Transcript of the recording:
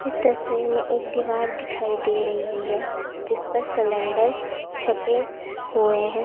तस्वीर में एक दीवार दिखाई दे रही है जिस पर सिलेंडर छपे हुए हैं।